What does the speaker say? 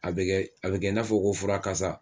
A a be kɛ n'a fɔ ko fura kasa